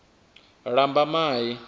lambamai